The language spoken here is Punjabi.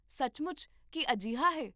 ਸੱਚਮੁੱਚ, ਕੀ ਅਜਿਹਾ ਹੈ?